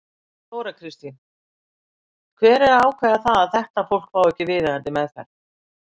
Þóra Kristín: Hver er að ákveða það að þetta fólk fái ekki viðeigandi meðferð?